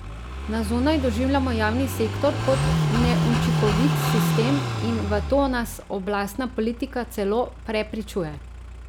Na zunaj doživljamo javni sektor kot neučinkovit sistem in v to nas oblastna politika celo prepričuje.